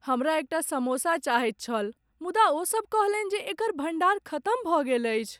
हमरा एकटा समोसा चाहैत छल मुदा ओसभ कहलनि जे एकर भण्डार खतम भऽ गेल अछि।